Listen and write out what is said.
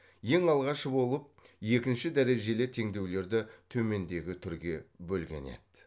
ең алғашқы болып екінші дәрежелі теңдеулерді төмендегі түрге бөлген еді